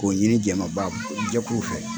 K'o ɲini jɛmɛbaajɛkuru fɛ.